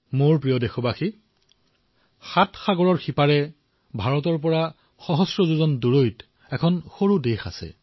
মোৰ মৰমৰ দেশবাসীসকল সাত সাগৰৰ সিপাৰে ভাৰতৰ পৰা হাজাৰ মাইল দূৰৈত এখন সৰু দেশ আছে